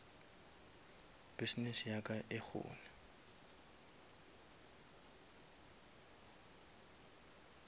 business ya ka e kgone